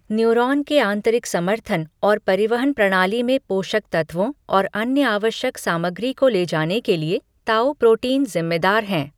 Neuron के आंतरिक समर्थन और परिवहन प्रणाली में पोषक तत्वों और अन्य आवश्यक सामग्री को ले जाने के लिए ताऊ प्रोटीन जिम्मेदार हैं।